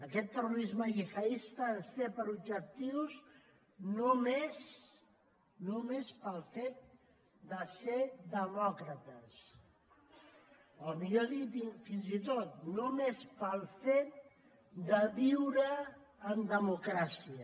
aquest terrorisme gihadista ens té per objectius només només pel fet de ser demòcrates o millor dit fins i tot només pel fet de viure en democràcia